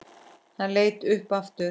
Hann leit upp aftur.